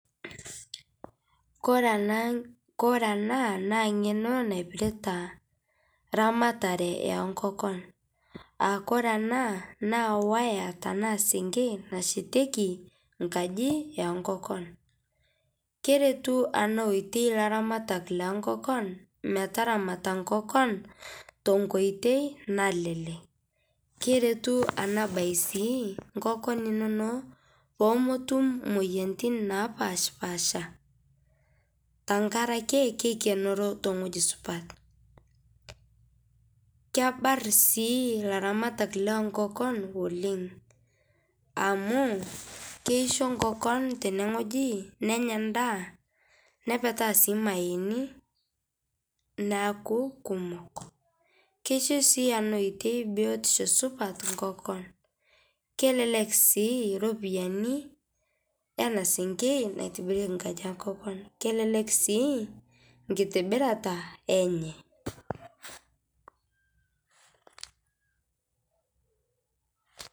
Kore ana, kore ana naa ng'enoo naipiritaa ramatare e nkokoon. Aa kore ana naa wayaa tana sieng'en naisheteki nkaaji e nkokoon. Kereetu ana woetei laramaat le nkokoon mee taramata nkokoon te nkotei nalelek. Kereetu ana baye sii nkokoon enono pee mootum moyiaritin naapashpasha tang'araki keikenoreo te ng'oji supaat. Keebaar sii laramaat le nkokoon oleng amu keishoo nkokoon tene ng'ojii nenyaa ndaa neepetaa sii maiyeni neaku kumook. Keishoo sii anaa ootei biotisho supaat nkokoon. Kelelek sii ropiani ena sieng'ei naitibirieki nkaaji e nkokoon. Kelelek sii nkitibiraata enye.